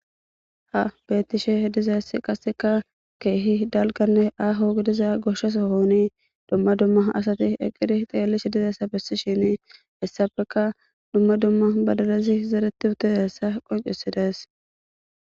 ha bettishe dizaessi qasseka keehi dalganne aaho gidiza goshasohooni dumma dumma asati eqiri xeelishe dizayssa bessi shini essafeka dumma dumma badadazi zereti utezassa qoncesidas